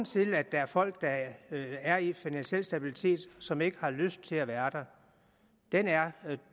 til at der er folk der er i finansiel stabilitet som ikke har lyst til at være der